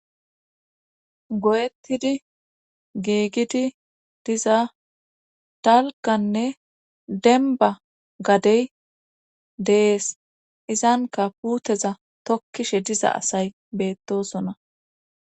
goyettidi giigidi diza dalganne denba gadey dees izanka puuteza tokkishe diza asay beettosona